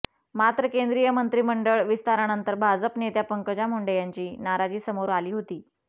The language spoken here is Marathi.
मात्र केंद्रीय मंत्रिमंडळ विस्तारानंतर भाजप नेत्या पंकजा मुंडे यांची नाराजी समोर आली होती